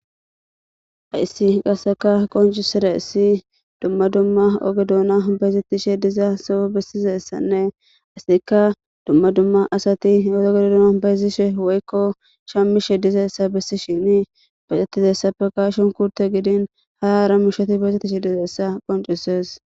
haissi qasseka qoncisira issi dumma dumma ogedoona bayzettishe dizaa soo bessizessanne asika dumma dumma asati yoogedodoona bayzishe woykko shammishe dizaessa bessi shini baxettize ssapekashon kurte gidin hara arammisheti beexeticsh dizeessa qoncises